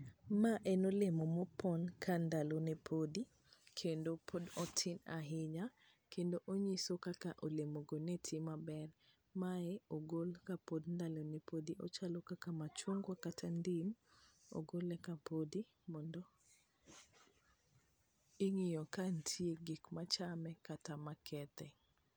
Ma en olemo mo pon ka ndalo ne podi kendo pod otin ahinya kendo ong'iso kaka olemo go ne ti maber ,mae ogol kapod ndalone podi ,ochalo kaka machungwa kata ndim ogole ka podi mondo ing'iyo ka nitie gik machame kata makethe